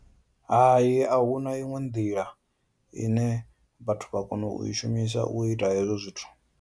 Hai, a huna iṅwe nḓila ine vhathu vha kona u i shumisa u ita hezwo zwithu.